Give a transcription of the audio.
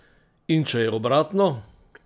In če je obratno?